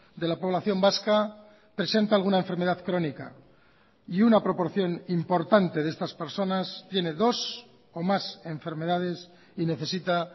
de la población vasca presenta alguna enfermedad crónica y una proporción importante de estas personas tiene dos o más enfermedades y necesita